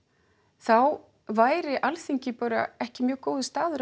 þá væri Alþingi bara ekki mjög góður staður